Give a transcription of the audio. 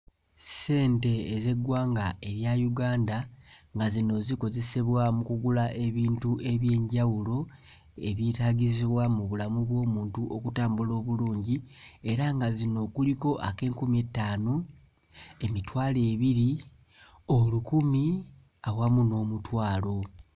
Ssente ez'eggwanga erya Uganda nga zino zikozesebwa mu kugula ebintu eby'enjawulo ebyetaagisibwa mu bulamu bw'omuntu okutambula obulungi, era nga zino kuliko ak'enkumi ettaano, emitwalo ebiri, olukumi, awamu n'omutwalo.